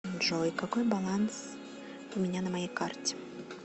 джой какой баланс у меня на моей карте